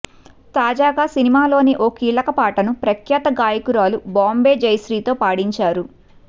తాజాగా సినిమాలోని ఓ కీలక పాటను ప్రఖ్యాత గాయకురాలు బాంబే జయశ్రీతో పాడించారు